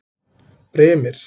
Brimir